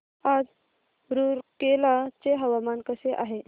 आज रूरकेला चे हवामान कसे आहे